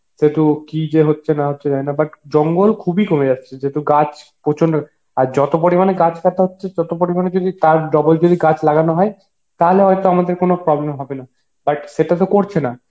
সেতো কি যে হচ্ছে না হচ্ছে জানিনা but জঙ্গল খুবই কমে যাচ্ছে যেহেতু গাছ প্রচন্ড আর যত পরিমাণে গাছ কাটা হচ্ছে তত পরিমাণে যদি তার ডবল যদি গাছ লাগানো হয় তাহলে হয়তো আমাদের কোন problem হবে না but সেটা তো করছে না